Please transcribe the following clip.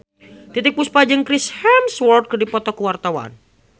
Titiek Puspa jeung Chris Hemsworth keur dipoto ku wartawan